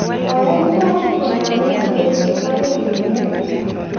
koyai mung'aret koname koechei agoi koimen